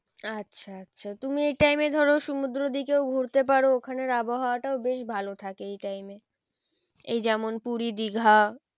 আচ্ছা আচ্ছা তুমি এই time এ ধরো সমুদ্রর দিকেও ঘুরতে পারো ওখানের আবহাওয়াতেও বেশ ভালো থাকে এই time এ এই যেমন পুরী দীঘা